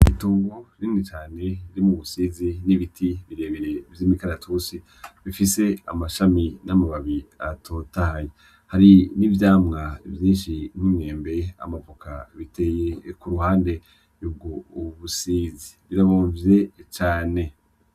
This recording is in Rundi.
Itongo rinini cane ririmwo ubusizi nibiti binini birebire vy'imikaratusi bifise amababi n'amashami atotahaye. Hari n'ivyamwa vyinshi nk'imyembe, amavoka biteye ku ruhande yubgo busizi rirabonvye cane.